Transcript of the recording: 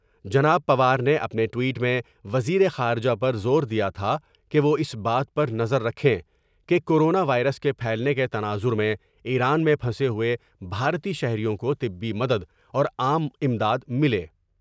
جناب پوار نے اپنے ٹوئٹ میں وزیر خارجہ پر زور دیا تھا کہ وہ اس بات پر نظر رکھیں کہ کورونا وائرس کے پھیلنے کے تناظر میں ایران میں پھنسے ہوئے بھارتی شہریوں کو طبی مدد اور عام امداد ملے ۔